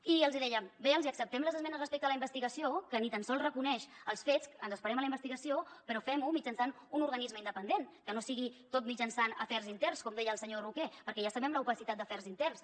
i deien bé els acceptem les esmenes respecte a la investigació que ni tan sols reconeix els fets en esperem a la investigació però fem ho mitjançant un organisme independent que no sigui tot mitjançant afers interns com deia el senyor roquer perquè ja sabem l’opacitat d’afers interns